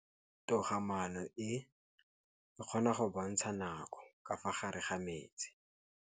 Toga-maanô e, e kgona go bontsha nakô ka fa gare ga metsi.